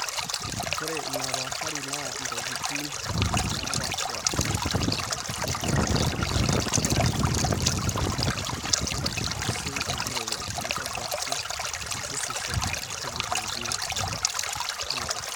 ore ina paashari naa intokitin naapaashipaasha naayau enaa enkijape aashu enkirowuaj enkop aashu karsisishu onkulie tokitin einakop